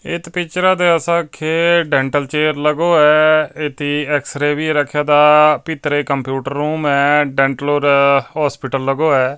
ਇਤ ਪਿਕਚਰਾਂ ਤੇ ਅਸਾਂ ਦੇਖ ਡੈਂਟਲ ਚੇਅਰ ਲਗੋ ਹੈ ਇਤ ਤੇ ਐਕਸ-ਰੇ ਵੀ ਰੱਖੀ ਤਾ ਪੀਤਰੇ ਕੰਪਿਊਟਰ ਰੂਮ ਆ ਡੈਂਟਲ ਓਰ ਹੌਸਪੀਟਲ ਲਗੋ ਹੈ।